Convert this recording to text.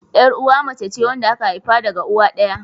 Yar'uwa mace ce wadda aka haifa daga uwa ɗaya.